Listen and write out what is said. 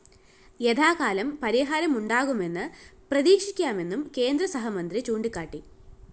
യഥാകാലം പരിഹാരം ഉണ്ടാകുമെന്ന് പ്രതീക്ഷിക്കാമെന്നും കേന്ദ്രസഹമന്ത്രി ചൂണ്ടിക്കാട്ടി